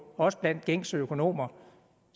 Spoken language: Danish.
også blandt gængse økonomer